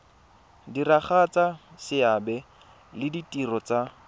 diragatsa seabe le ditiro tsa